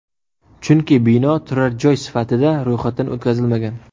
Chunki bino turar joy sifatida ro‘yxatdan o‘tkazilmagan.